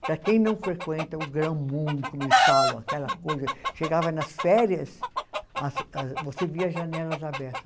Para quem não frequenta o grão-mundo, como eles falam, aquela coisa, chegava nas férias, você via as janelas abertas.